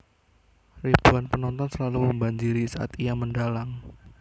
Ribuan penonton selalu membanjiri saat ia mendhalang